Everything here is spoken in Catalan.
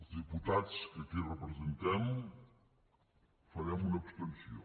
els diputats que aquí representem farem una abstenció